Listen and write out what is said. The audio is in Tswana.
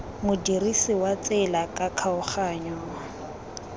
modirisi wa tsela ka kgaoganyo